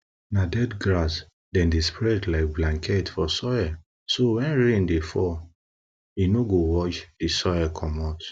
na dead grass dem dey spread like blanket for soil so when rain dey fall e no go wash de soil comot